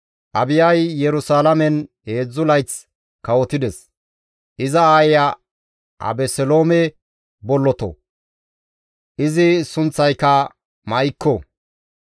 Abiyay Yerusalaamen heedzdzu layth kawotides; iza aayeya Abeseloome bolloto; izi sunththayka Ma7ikko.